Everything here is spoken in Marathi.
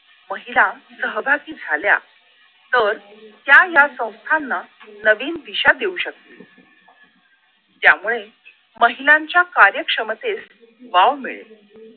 महिला सहभागी झाल्या तर त्या या संस्थांना नवीन दिशा देऊ शकतील त्यामुळे महिलांच्या कार्यक्षमतेस वाव मिळेल